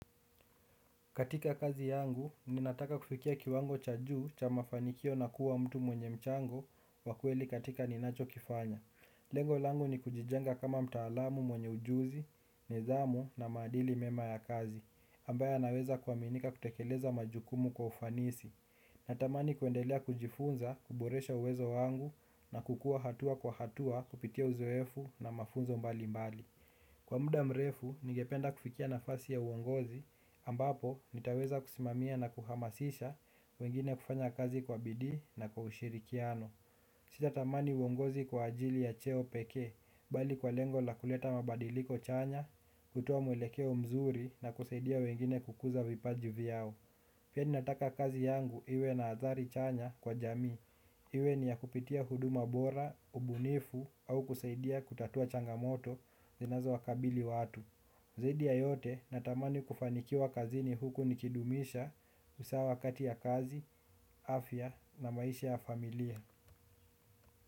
Katika kazi yangu, ninataka kufikia kiwango cha juu cha mafanikio na kuwa mtu mwenye mchango wa kweli katika ninachokifanya. Lengo langu ni kujijenga kama mtaalamu mwenye ujuzi, nidhamu na maadili mema ya kazi, ambayo yanaweza kuaminika kutekeleza majukumu kwa ufanisi. Natamani kuendelea kujifunza, kuboresha uwezo wangu na kukua hatua kwa hatua kupitia uzoefu na mafunzo mbalimbali. Kwa muda mrefu, ningependa kufikia nafasi ya uongozi, ambapo nitaweza kusimamia na kuhamasisha wengine kufanya kazi kwa bidii na kwa ushirikiano. Sitatamani uongozi kwa ajili ya cheo pekee, bali kwa lengo la kuleta mabadiliko chanya, kutoa mwelekeo mzuri na kusaidia wengine kukuza vipaji vyao. Pia ninataka kazi yangu iwe na athari chanya kwa jamii. Iwe ni ya kupitia huduma bora, ubunifu au kusaidia kutatua changamoto zinazowakabili watu. Zaidi ya yote natamani kufanikiwa kazini huku nikidumisha usawa kati ya kazi, afya na maisha ya familia.